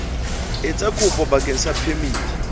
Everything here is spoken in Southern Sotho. etsa kopo bakeng sa phemiti